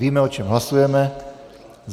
Víme, o čem hlasujeme.